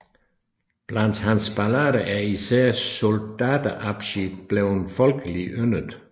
Blandt hans ballader er især Soldatenabschied bleven folkelig og yndet